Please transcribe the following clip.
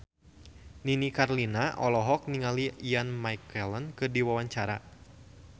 Nini Carlina olohok ningali Ian McKellen keur diwawancara